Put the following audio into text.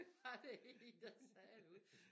Var der én der sagde derude